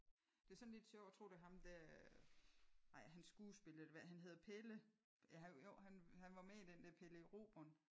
Det er sådan lidt sjovt jeg tror det er ham der er han skuespiller eller hvad? Han hedder Pelle. Ja jo han var med i den der Pelle Erobreren